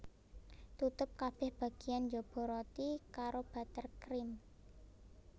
Tutup kabeh bagiyan njaba roti karo butter cream